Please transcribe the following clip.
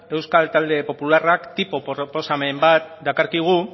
euskal talde popularrak tipo proposamen bat dakarkigu